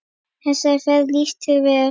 Þessar ferðir lýstu þér vel.